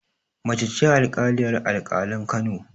Mace ce alƙaliyar alƙalan Kano